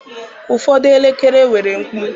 Ụfọdụ elekere nwere mkpu.